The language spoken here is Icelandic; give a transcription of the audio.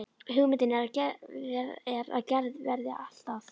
Hugmyndin er að gerð verði allt að